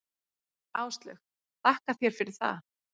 Áslaug: Þakka þér fyrir það.